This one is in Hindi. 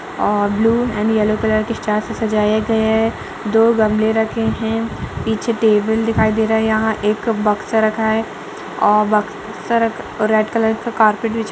और ब्लू एण्ड येलो कलर के स्टार से सजाया गया है। दो गमलें रखे हुए हैं। पीछे टेबल दिखाई दे रहा है। यहाँ बक्सा रखा है औ बक्सा रख रेड कलर का कार्पेट बिछा --